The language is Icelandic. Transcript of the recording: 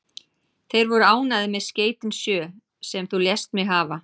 Þeir voru ánægðir með skeytin sjö, sem þú lést mig hafa.